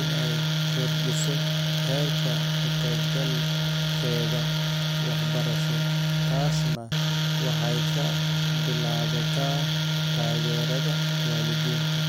inay kordhiso heerka ka-qaybgalkeeda waxbarasho taasna waxay ka bilaabataa taageerada waalidiinta.